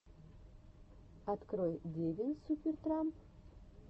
открой девин супер трамп